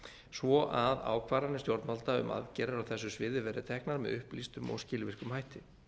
svo að ákvarðanir stjórnvalda um aðgerðir á þessu sviði verði teknar með upplýstum og skilvirkum hætti